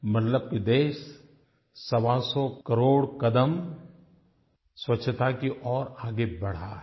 मतलब कि देश सवासौ करोड़ कदम स्वच्छ्ता की ओर आगे बढ़ा है